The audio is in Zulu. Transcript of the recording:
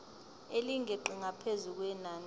elingeqi ngaphezu kwenani